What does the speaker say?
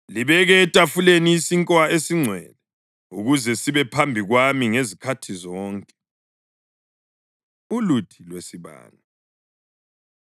Libeke etafuleni isinkwa esiNgcwele ukuze sibe phambi kwami ngezikhathi zonke.” Uluthi Lwesibane